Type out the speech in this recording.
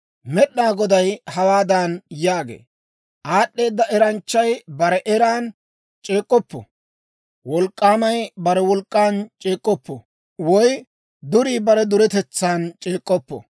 Med'inaa Goday hawaadan yaagee; «Aad'd'eeda eranchchay bare eran c'eek'k'oppo; wolk'k'aamay bare wolk'k'an c'eek'k'oppo; woy durii bare duretetsan c'eek'k'oppo.